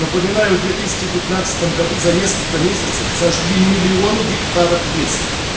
напоминаю в две тысячи пятнадцатом году за несколько месяцев сожгли миллионы гектаров леса